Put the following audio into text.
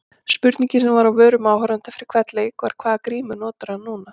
Spurningin sem var á vörum áhorfenda fyrir hvern leik var- hvaða grímu notar hann núna?